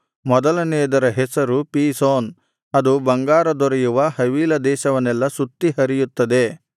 ಮೊದಲನೆಯದರ ಹೆಸರು ಪೀಶೋನ್ ಅದು ಬಂಗಾರ ದೊರೆಯುವ ಹವೀಲ ದೇಶವನ್ನೆಲ್ಲಾ ಸುತ್ತಿ ಹರಿಯುತ್ತದೆ